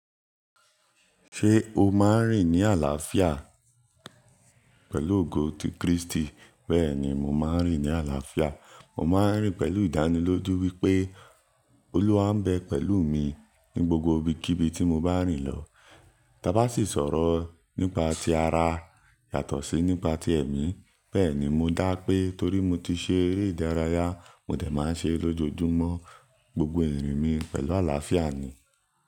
Ṣé o máa ń rìn ní àlàáfíà pẹ̀lú ogo ti Kristi? Bẹ́ẹ̀ni, mo máa ń rìn ní àlàáfíà. Mo máa ń rìn pẹ̀lú ìdánilójú wípé Olúwa ń bẹ pẹ̀lú mi ní gbogbo ibikíbi tí mo bá rìn lọ. Ta bá sì sọ̀rọ̀ nípa ti ara yàtọ̀ sí nípa ti ẹ̀mí. Bẹ́ẹ̀ni, mo dá pé torí mo ti ṣe eré ìdárayá, mo dẹ̀ máa ń ṣe lójojúmọ́ gbogbo ìrìn mi pẹ̀lú àlàáfíà ni.